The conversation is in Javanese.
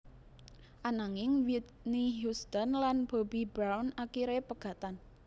Ananging Whitney Houston lan Bobby Brown akiré pegatan